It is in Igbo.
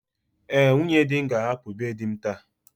Ee, nwunye di m ga-ahapụ be di m taa.